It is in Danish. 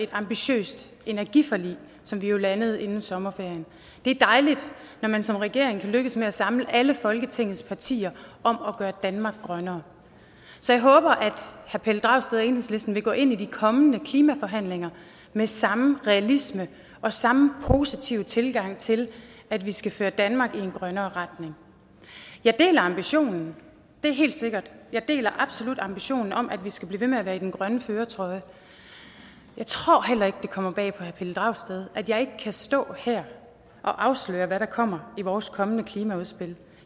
et ambitiøst energiforlig som vi jo landede inden sommerferien det er dejligt når man som regering kan lykkes med at samle alle folketingets partier om at gøre danmark grønnere så jeg håber at herre pelle dragsted og enhedslisten vil gå ind i de kommende klimaforhandlinger med samme realisme og samme positive tilgang til at vi skal føre danmark i en grønnere retning jeg deler ambitionen det er helt sikkert jeg deler absolut ambitionen om at vi skal blive ved med at være i den grønne førertrøje jeg tror heller ikke at det kommer bag på herre pelle dragsted at jeg ikke kan stå her og afsløre hvad der kommer i vores kommende klimaudspil